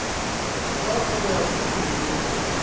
wa go ya go ile